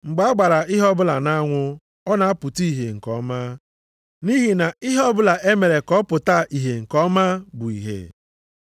Mgbe a gbara ihe ọbụla nʼanwụ, ọ na-apụta ìhè nke ọma. Nʼihi na ihe ọbụla e mere ka ọ pụta ìhè nke ọma bụ ìhè.